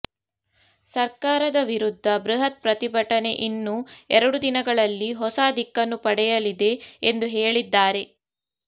ಸರ್ಕಾರದ ವಿರುದ್ಧ ಬೃಹತ್ ಪ್ರತಿಭಟನೆ ಇನ್ನು ಎರಡು ದಿನಗಳಲ್ಲಿ ಹೊಸ ದಿಕ್ಕನ್ನು ಪಡೆಯಲಿದೆ ಎಂದು ಹೇಳಿದ್ದಾರೆ